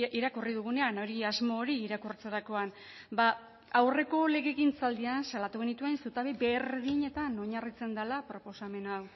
irakurri dugunean hori asmo hori irakurtzerakoan ba aurreko legegintzaldian salatu genituen zutabe berdinetan oinarritzen dela proposamen hau